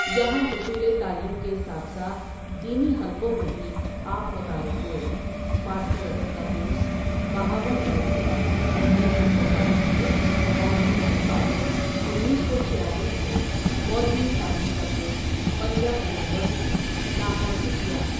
یہاں حصول تعلیم کے ساتھ ساتھ دینی حلقوں میں بھی آپ متعارف ہوئے فارسی ادب کاکورس بہاو لنگر سے انیس سو چوالیس میں اور منشی فا ضل، انیس سو چھیالیس میں مولوی فا ضل کا کورس پنجاب یونیوڑسٹی لاہور سے کیا۔